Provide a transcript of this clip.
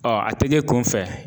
a te kɛ kunfɛ